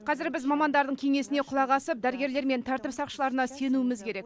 қазір біз мамандардың кеңесіне құлақ асып дәрігерлер мен тәртіп сақшыларына сенуіміз керек